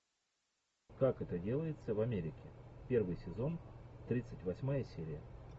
как это делается в америке первый сезон тридцать восьмая серия